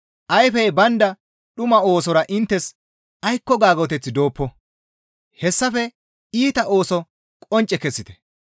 Ayfey baynda dhuma oosora inttes aykko gaagoteththi dooppo; hessafe iita ooso qoncce kessite.